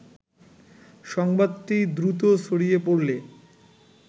সংবাদটি দ্রুত ছড়িয়ে পড়লে